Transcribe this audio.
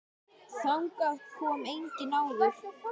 Þangað kom enginn áður.